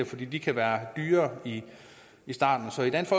fordi de kan være dyrere i starten så i dansk